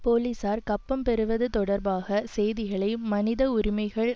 போலிசார் கப்பம் பெறுவது தொடர்பாக செய்திகளை மனித உரிமைகள்